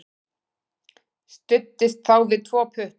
Studdist þá við tvo putta.